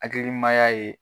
Akilimaya ye.